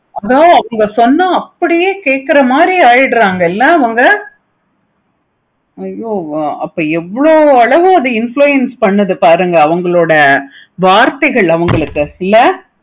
ஆஹ் இவை சொன்ன அப்படியே பேசுற மாதிரி ஆகிடுறாங்க ஐயோ அப்பா அப்பா அது எவ்வளோ அளவு influence பண்ணுது பாருங்க அவுங்களோட வார்த்தைகள் அவங்களுக்கு இல்ல